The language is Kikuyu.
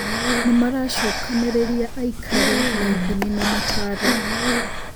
Nĩmaracokanĩrĩria aikari na ithimi na mataro